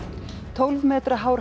tólf metra hár